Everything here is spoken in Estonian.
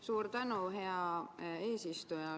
Suur tänu, hea eesistuja!